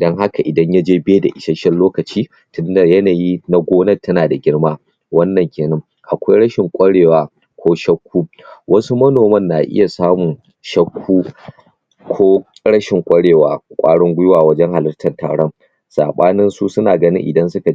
don haka idan yaje bai da isasshen lokaci na yanayi na gonar tana da girma, wannan kenan, akwai rashin kwarewa ko shakku wasu manoman na iya samun shakku ko rashin kwarewa kwarin gwiwa wajen halatar taron sabaninsu suna ganin idan suka